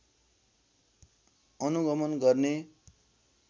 अनुगमन गर्ने